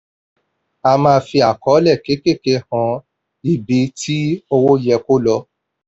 a máa fi àkọlé kékèké hàn ibi tí owó yẹ kó lọ.